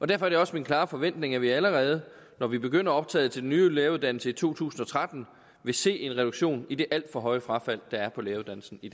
derfor er det også min klare forventning at vi allerede når vi begynder optaget til den nye læreruddannelse i to tusind og tretten vil se en reduktion i det alt for høje frafald der er på læreruddannelsen i